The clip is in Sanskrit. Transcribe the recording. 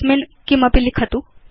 तस्मिन् किमपि लिखतु